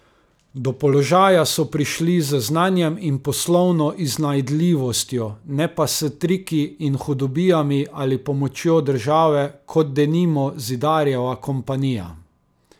Do položaja so prišli z znanjem in poslovno iznajdljivostjo, ne pa s triki in hudobijami ali pomočjo države, kot denimo Zidarjeva kompanija.